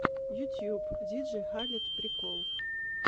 ютюб диджей халед прикол